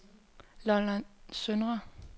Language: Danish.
Lolland Søndre